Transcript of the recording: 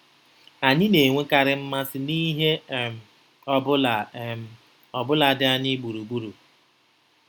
Anyị na-enwekarị mmasị n’ihe um ọ bụla um ọ bụla dị anyị gburugburu.